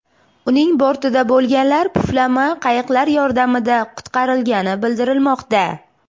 Uning bortida bo‘lganlar puflama qayiqlar yordamida qutqarilgani bildirilmoqda.